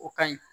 O ka ɲi